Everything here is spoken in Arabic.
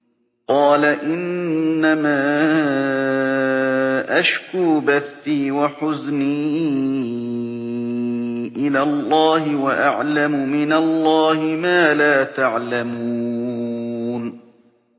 قَالَ إِنَّمَا أَشْكُو بَثِّي وَحُزْنِي إِلَى اللَّهِ وَأَعْلَمُ مِنَ اللَّهِ مَا لَا تَعْلَمُونَ